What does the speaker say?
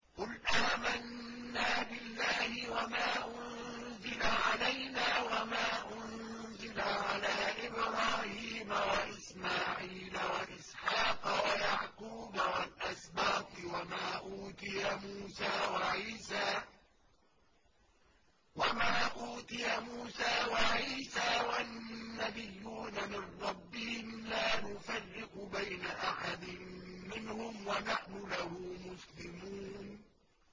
قُلْ آمَنَّا بِاللَّهِ وَمَا أُنزِلَ عَلَيْنَا وَمَا أُنزِلَ عَلَىٰ إِبْرَاهِيمَ وَإِسْمَاعِيلَ وَإِسْحَاقَ وَيَعْقُوبَ وَالْأَسْبَاطِ وَمَا أُوتِيَ مُوسَىٰ وَعِيسَىٰ وَالنَّبِيُّونَ مِن رَّبِّهِمْ لَا نُفَرِّقُ بَيْنَ أَحَدٍ مِّنْهُمْ وَنَحْنُ لَهُ مُسْلِمُونَ